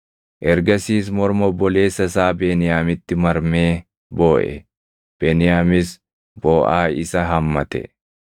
Ergasiis morma obboleessa isaa Beniyaamitti marmee booʼe; Beniyaamis booʼaa isa hammate.